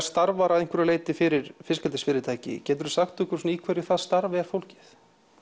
starfar að einhverju leyti fyrir fiskeldisfyrirtæki geturðu sagt okkur í hverju það starf er fólgið